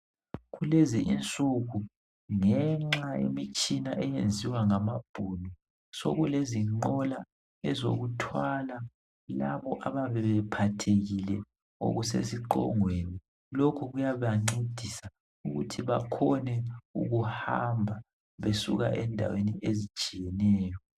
Kulezi insuku ngenxa yemitshina eyenziwa ngamabhunu, sokulezinqola ezokuthwala labo abayabe bephathekile ngokusesiqongweni. Lokhu kuyabancedisa ukuthi bakhone ukuhamba besuka endaweni ezitshiyeneyo.